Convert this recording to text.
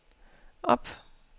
op